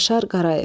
Yaşar Qarayev.